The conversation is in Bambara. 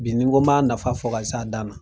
Bi ni n ko b'a nafa fɔ ka se a dan na.